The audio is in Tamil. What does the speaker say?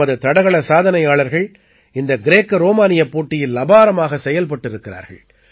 நமது தடகளச் சாதனையாளர்கள் இந்த கிரேக்க ரோமானியப் போட்டியில் அபாரமாகச் செயல்பட்டிருக்கிறார்கள்